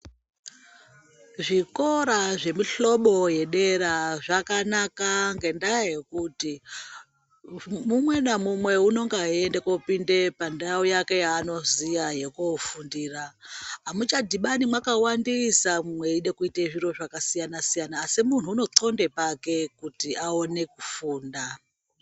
Zvikora zvemihlobo yedera zvakanaka ngendaa yekuti mumwe namumwe unenge eienda koopinde pandau yake yaanoziya yekoofundira. Amuchadhibani mwakawandisa mweide kuita zviro zvakasiyana siyana asi muntu unoqxonde pake kuti aone kufunda.